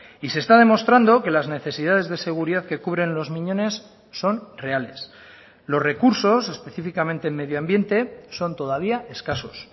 y se está demostrando que las necesidades de seguridad que cubren los miñones son reales los recursos específicamente en medio ambiente son todavía escasos